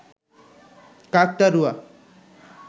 কাকতাড়ুয়া